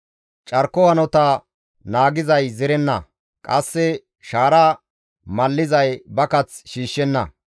Carko hanota naagizay zerenna; qasse shaara mallizay ba kath shiishshenna.